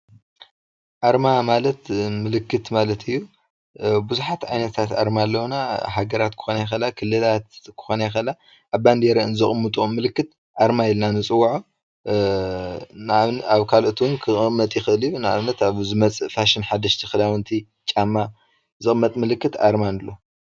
አርማ ማለት ምልክት ማለት እዩ። ብዙሓት ዓይነት አርማታት አለዉና ሃገራት ክኮና ይክእላ ክልላት ክኮና ይክእላ አብ ባንዴእ አን ዘቅምጠኦ ምልክት አርማ ኢልና ንፅወዖ። አብ ካልኦት እውን ክቅመጥ ይክእል እዩ ን አብነት አን ዝመፅእ ፋሽን ሓደሽቲ ክዳውንቲ ን ጫማ ዝቅመጥ ምልክት አርማ ንብሎ።